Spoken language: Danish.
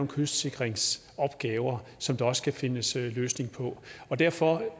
kystsikringsopgaver som der også skal findes en løsning på derfor